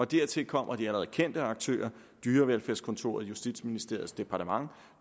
dertil kommer de allerede kendte aktører dyrevelfærdskontoret justitsministeriets departement